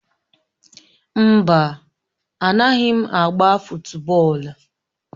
No, I don't play fụtbọol